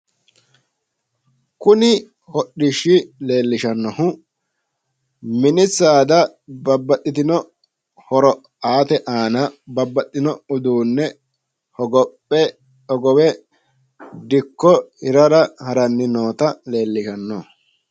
Kuni hodhishshi leellishannohu mini saada babbaxxitino horo aate aana babbaxxino uduunne hogophe dikko hirara haranni noota leellishanno.